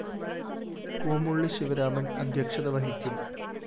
കൂമുള്ളി ശിവരാമന്‍ അധ്യക്ഷത വഹിക്കും